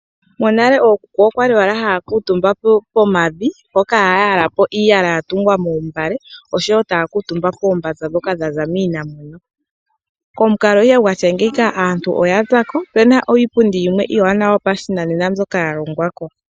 Monale ookuku okwali owala haya kutumba pomavi mpoka haya yalapo iiyala ya tungwa moombale, oshowo taya kutumba koombanza dhoka dha za kiinamwenyo. Komukalo ihe gwatya ngeyika aantu oya za ko, ope na iipundi yimwe iiwanawa yopashinanena mbyoka ya longwa ko.